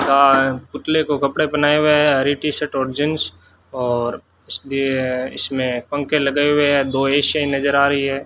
का पुतले को कपड़े पहनाए हुए हैं हरी टी शर्ट और जींस और इसलिए इसमें पंखे लगाए हुए हैं दो ए_सी नजर आ रही है।